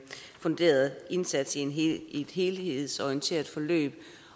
funderet indsats i et helhedsorienteret forløb